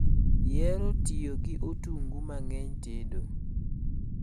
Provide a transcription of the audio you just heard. Ihero tiyo gi otungu mang'eny tedo?